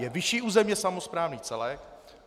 Je vyšší územně samosprávný celek.